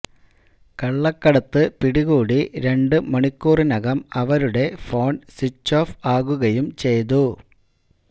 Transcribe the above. കള്ളക്കടത്ത് പിടികൂടി രണ്ട് മണിക്കൂറിനകം അവരുടെ ഫോണ് സ്വിച്ച് ഓഫ് ആകുകയും ചെയ്തു